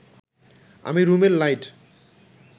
আমি রুমের লাইট